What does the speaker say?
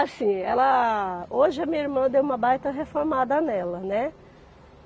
Assim, ela... Hoje a minha irmã deu uma baita reformada nela, né?